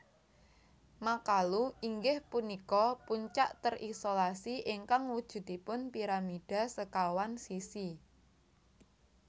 Makalu inggih punika puncak terisolasi ingkang wujudipun piramida sekawan sisi